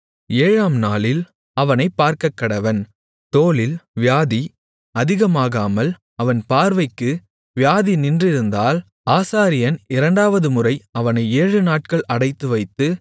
ஏழாம் நாளில் அவனைப் பார்க்கக்கடவன் தோலில் வியாதி அதிகமாகாமல் அவன் பார்வைக்கு வியாதி நின்றிருந்தால் ஆசாரியன் இரண்டாவதுமுறை அவனை ஏழுநாட்கள் அடைத்துவைத்து